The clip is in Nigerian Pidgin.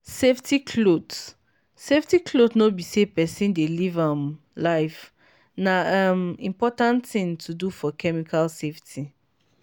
safety cloth safety cloth no be say person dey live um life—na um important thing to do for chemical safety.